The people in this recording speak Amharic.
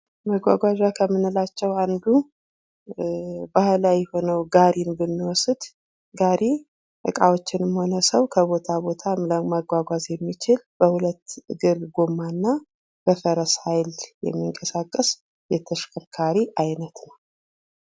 መጓጓዣ ከምንላቸው አንዱ ባህላዊ የሆነው ጋሪ ብንወስድ ጋሪ እቃወችንም ሆነ ሰው ከቦታ ቦታ ለማጓጓዝ የሚችል በሁለት እግር ጎማና በፈረስ ሀይል የሚንቀሳቀስ የተሽከርካሪ አይነት ነው።